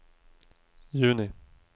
juni